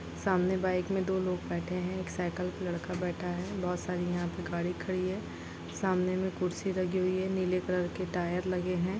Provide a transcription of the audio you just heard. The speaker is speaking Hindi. सामने बाइक मे दो लोग बैठे है एक साइकल पे लड़का बैठा है बहुत सारी यहां पे गाड़ी खड़ी है सामने मे कुर्सी लगी हुई है नीले कलर के टायर लगे हैं।